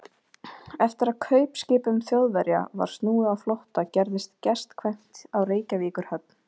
Eftir að kaupskipum Þjóðverja var snúið á flótta, gerðist gestkvæmt á Reykjavíkurhöfn.